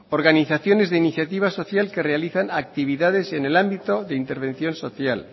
organizaciones de iniciativa social que realizan actividades en el ámbito de intervención social